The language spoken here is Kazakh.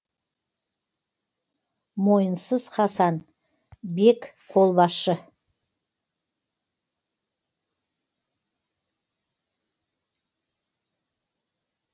мойынсыз хасан бек қолбасшы